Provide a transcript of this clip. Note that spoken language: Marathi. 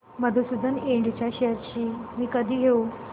मधुसूदन इंड शेअर्स मी कधी घेऊ